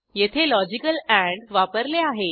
येथे logical end वापरले आहे